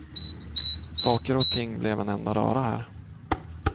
Saker och ting blev en enda röra här.